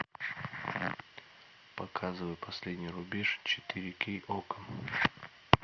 показывай последний рубеж четыре кей окко